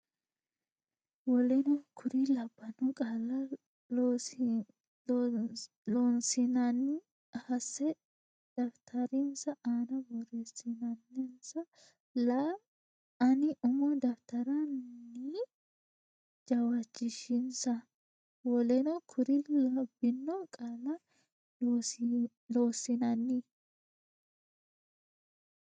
woleno kuri labbino qaalla Loossinanni hasse daftarinsa aana borreessansa la anni umo daftara ne jawaachishinsa woleno kuri labbino qaalla Loossinanni.